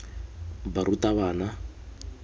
barutabana